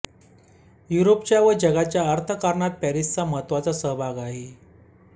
युरोपाच्या व जगाच्या अर्थकारणात पॅरिसचा महत्त्वाचा सहभाग आहे